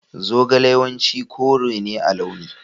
Zogale yawanci kore ne a launi.